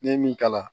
Ne ye min kala